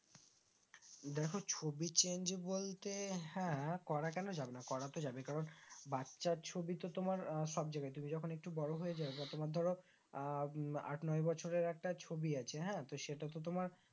দেখো ছবি change বলতে হ্যাঁ করা কেন যাবে না করা তো যাবে কারণ বাচ্চা ছবি তো তোমার আহ সব জায়গা তুমি যখন একটু বড়ো হয়ে যাও বা তোমার ধরো আহ আট নয় বছর এর একটা ছবি আছে হ্যাঁ তো সেটা তো তোমার